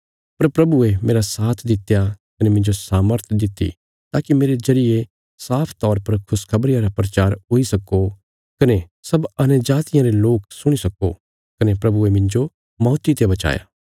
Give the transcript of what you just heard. पर प्रभुये मेरा साथ दित्या कने मिन्जो सामर्थ दित्ति ताकि मेरे जरिये साफ तौर पर खुशखबरिया रा प्रचार हुई सक्को कने सब अन्यजातियां रे लोक सुणी सक्को कने प्रभुये मिन्जो मौती ते बचाया